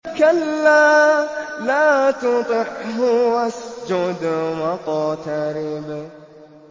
كَلَّا لَا تُطِعْهُ وَاسْجُدْ وَاقْتَرِب ۩